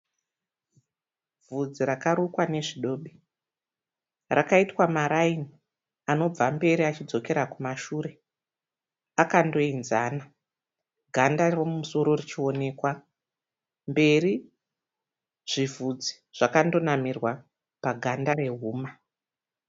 Bvudzi rakarukwa nezvidobi rakaitwa maraini anobva mberi achidzokera kumashure akandoenzana ganda riri mumusoro richionekwa mberi zvivhudzi zvakandonamirwa paganda rehuma.